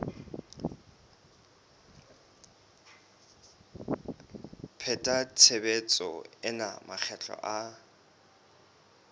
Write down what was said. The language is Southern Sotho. pheta tshebetso ena makgetlo a